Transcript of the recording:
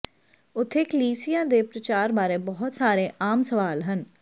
ਉੱਥੇ ਕਲੀਸਿਯਾ ਦੇ ਪ੍ਰਚਾਰ ਬਾਰੇ ਬਹੁਤ ਸਾਰੇ ਆਮ ਸਵਾਲ ਹਨ